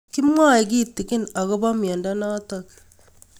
Kimwae kitig'in akopo miondo notok